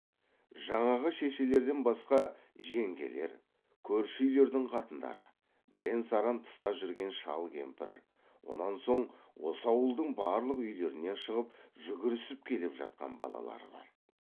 жаңағы шешелерден басқа жеңгелер көрші үйлердің қатындары бірен саран тыста жүрген шал кемпір онан соң осы ауылдың барлық үйлерінен шығып жүгірісіп келіп жатқан балалар бар